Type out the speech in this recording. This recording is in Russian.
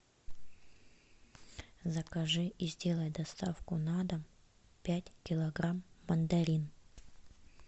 закажи и сделай доставку на дом пять килограмм мандарин